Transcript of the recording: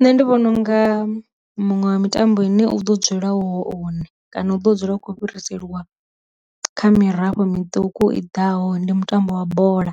Nṋe ndi vhona unga muṅwe wa mitambo ine u ḓo dzula hone kana u ḓo dzula u khou fhiriselwa kha mirafho mituku i ḓaho ndi mutambo wa bola,